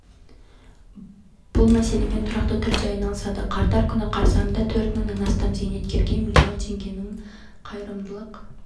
бұл мәселемен тұрақты түрде айналысады қарттар күні қарсаңында төрт мыңнан астам зейнеткерге миллион теңгенің қайырымдылық